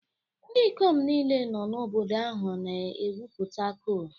Ndị ikom niile nọ n'obodo ahụ na-egwupụta coal